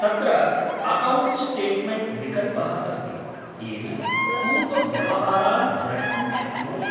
तत्र 'account statement' विकल्पः अस्ति, येन पूर्वव्यवहारान् द्रष्टुं शक्नोषि।